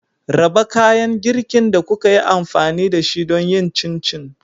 Raba kayan girkin da kuka yi amfani da shi don yin Chin chin.